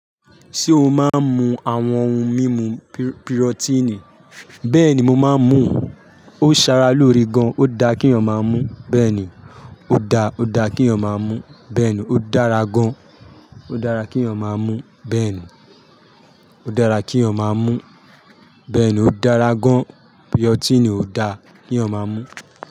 Ṣé o máa ń mu àwọn ohun mímu bi rotini? Bẹ́ẹ̀ni, mo máa ń mu o. Ó sara loore gan, ó da kí yan máa mú bẹ́ẹ̀ni, ó da, ó da kí eyan máa mú bẹ́ẹ̀ni, ó dára gan. Ó dára kí ọmọ máa mú bẹ́ẹ̀ni, ó dára kí ọmọ máa mú bẹ́ẹ̀ni, ó dára gan. Biotini ò dáa kí yan máa mú.